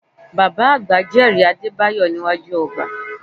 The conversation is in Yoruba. Bàbá àgbà jẹ́rìí Adébáyọ̀ níwájú ọba